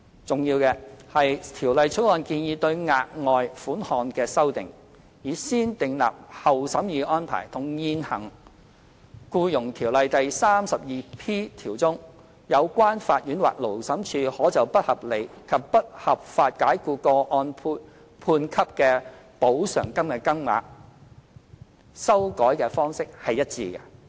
重要的是，《條例草案》建議對額外款項的修訂，以"先訂立後審議"的安排，與現行《僱傭條例》第 32P 條中，有關法院或勞審處可就不合理及不合法解僱個案判給的補償金的金額，修改方式一致。